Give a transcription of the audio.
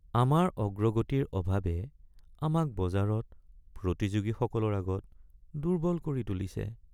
আমাৰ অগ্ৰগতিৰ অভাৱে আমাক বজাৰত প্ৰতিযোগীসকলৰ আগত দুৰ্বল কৰি তুলিছে।